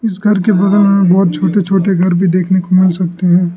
इस घर के बगल में बहुत छोटे छोटे घर भी देखने को मिल सकते हैं।